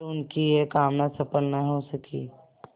पर उनकी यह कामना सफल न हो सकी